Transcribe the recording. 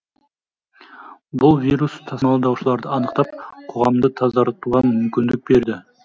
бұл вирус тасымалдаушыларды анықтап қоғамды тазартуға мүмкіндік береді